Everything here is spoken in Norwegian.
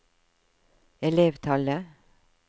elevtallet